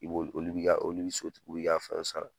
I b'ol olu b'i ka olu ni so tigiw i ka fɛn sara